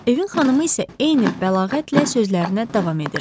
Evin xanımı isə eyni bəlağətlə sözlərinə davam edirdi.